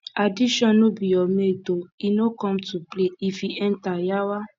addiction no be your mate o e no come to play if e enter yawa